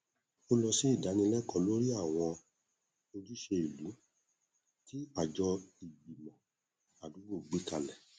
ó lọ sí ìdánilẹkọọ lórí àwọn ojúṣe ìlú tí àjọ ìgbìmọ àdúgbò gbé kalẹ